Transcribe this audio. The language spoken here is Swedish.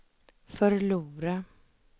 förlora